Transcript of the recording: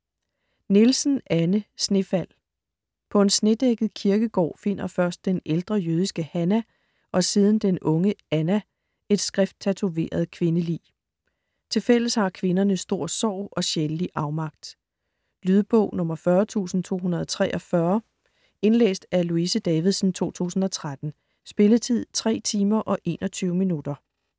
Nielsen, Anne: Snefald På en snedækket kirkegård finder først den ældre jødiske Hannah, og siden den unge Anna, et skrifttatoveret kvindelig. Tilfælles har kvinderne stor sorg og sjælelig afmagt. Lydbog 40243 Indlæst af Louise Davidsen, 2013. Spilletid: 3 timer, 21 minutter.